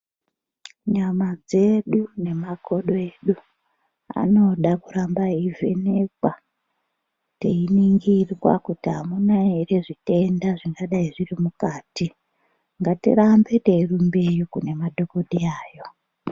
Nyama dzedu nemakodo edu, anoda kuramba eivhenekwa, teiningirwa kuti amuna ere zvitanda zvingadai zviri mukati, ngatirambe teirumbeyo kune madhokodheyayo.